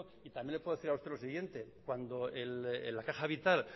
y también le puedo decir a usted lo siguiente cuando en la caja vital